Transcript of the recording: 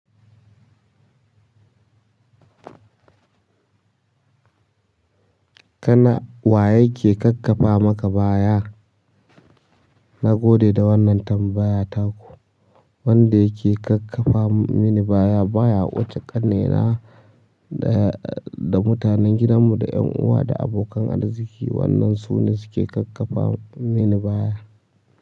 Kana waye ke kakkaba maka baya? Na gode da wannan tambaya taku. Wanda yake kakkafa mini baya baya, wuce ƙannena da da mutanen gidanmu da ƴan uwa da abokan arziki wannan su ne suke kakkafa mini baya.